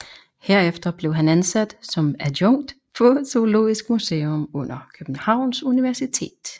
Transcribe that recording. Herefter blev han ansat som adjunkt på Zoologisk Museum under Københavns Universitet